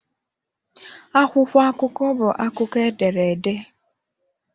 Akwụkwọ akụkọ bụ akụkọ e dere ede.